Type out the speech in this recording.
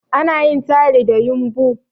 Ana yin tayal da yumbu